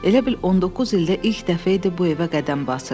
Elə bil 19 ildə ilk dəfə idi bu evə qədəm basırdı.